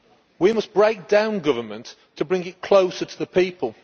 We must break down government to bring it closer to the people.